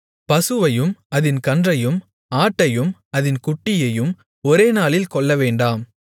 பசுவையும் அதின் கன்றையும் ஆட்டையும் அதின் குட்டியையும் ஒரே நாளில் கொல்லவேண்டாம்